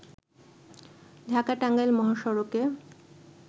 ঢাকা-টাঙ্গাইল মহাসড়কে